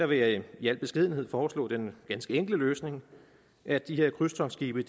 vil jeg i al beskedenhed foreslå den ganske enkle løsning at de her krydstogtskibe